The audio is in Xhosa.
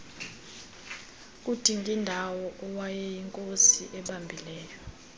kudingindawo owayeyinkosi ebambileyo